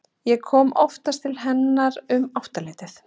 Ég kom oftast til hennar um áttaleytið.